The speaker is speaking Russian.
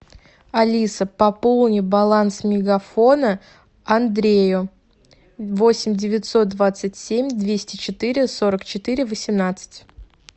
алиса пополни баланс мегафона андрею восемь девятьсот двадцать семь двести четыре сорок четыре восемнадцать